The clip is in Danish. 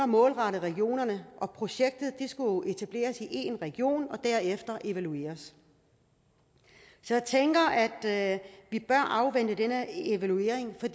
målrettet regionerne og projektet skulle etableres i én region og derefter evalueres så jeg tænker at at vi bør afvente denne evaluering for